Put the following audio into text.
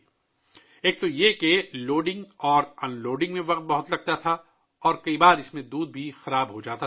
پہلے تو لوڈنگ اور ان لوڈنگ میں کافی وقت لگتا تھا اور اکثر دودھ بھی خراب ہو جاتا تھا